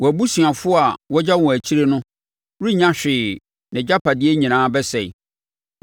Wɔn abusuafoɔ a wɔagya wɔn akyire no renya hwee nʼagyapadeɛ nyinaa bɛsɛe.